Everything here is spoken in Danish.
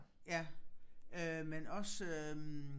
Ja øh men også øh